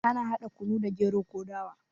Ana hada kunu da gero ko dawa